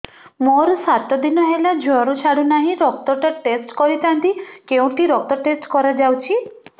ମୋରୋ ସାତ ଦିନ ହେଲା ଜ୍ଵର ଛାଡୁନାହିଁ ରକ୍ତ ଟା ଟେଷ୍ଟ କରିଥାନ୍ତି କେଉଁଠି ରକ୍ତ ଟେଷ୍ଟ କରା ଯାଉଛି